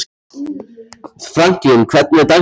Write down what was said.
Franklín, hvernig er dagskráin í dag?